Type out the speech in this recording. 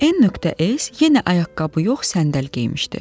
N.S. yenə ayaqqabı yox, səndəl geymişdi.